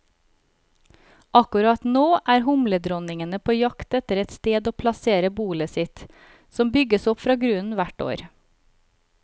Akkurat nå er humledronningene på jakt etter et sted å plassere bolet sitt, som bygges opp fra grunnen hvert år.